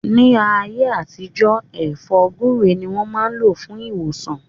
Ni aye atijọ, È̩fó̩ gbúre ni wọn maa n lo fun iwosan.